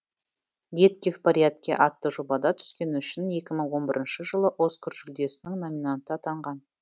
детки в порядке атты жобада түскені үшін екі мың он бірінші жылы оскар жүлдесінің номинанты атанған